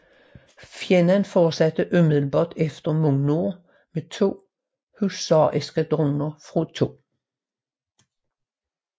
Fjenden fortsatte umiddelbart efter mod nord med to husareskadroner fra 2